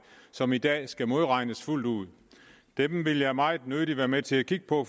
som i dag skal modregnes fuldt ud det vil jeg meget nødig være med til at kigge på